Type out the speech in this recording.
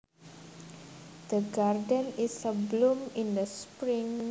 The garden is abloom in the spring